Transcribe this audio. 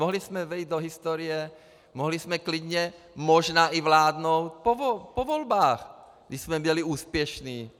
Mohli jsme vejít do historie, mohli jsme klidně možná i vládnout po volbách, když jsme byli úspěšní.